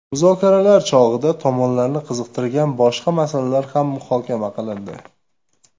Muzokaralar chog‘ida tomonlarni qiziqtirgan boshqa masalalar ham muhokama qilindi.